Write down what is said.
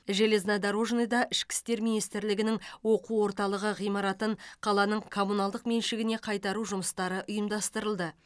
железнодорожныйда ішкі істер министрлігінің оқу орталығы ғимаратын қаланың коммуналдық меншігіне қайтару жұмстары ұйымдастырылды